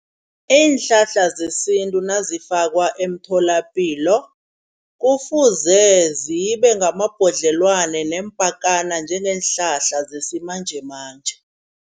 Iinhlahla zesintu nazifakwa emtholapilo kufuze zibe ngamabhodlelwana neempakana njengeenhlahla zesimanjemanje.